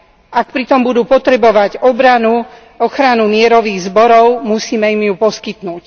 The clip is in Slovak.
Ak pritom budú potrebovať obranu, ochranu mierových zborov, musíme im ju poskytnúť.